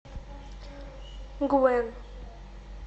гвен